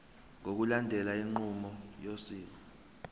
ngokulandela inqubo yosiko